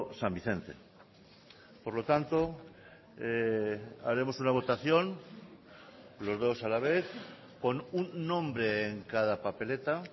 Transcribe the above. san vicente por lo tanto haremos una votación los dos a la vez con un nombre en cada papeleta